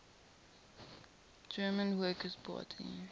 german workers party